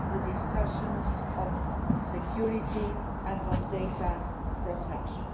will be discussions on security and on data protection.